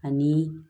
Ani